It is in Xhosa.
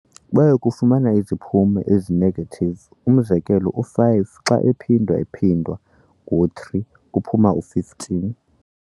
Bayakufumana iziphumo ezi-negative umzekelo, u-5 xa ephindwa-ephindwa ngo-3 kuphuma u-15.